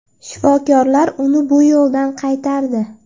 Shifokorlar uni bu yo‘ldan qaytardi.